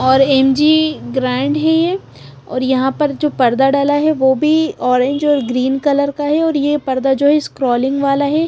और M G grand हैं ये और यहां पर जो पर्दा डाला है वो भी ऑरेंज और ग्रीन कलर का है ये पर्दा जो स्क्रोलिंग वाला है।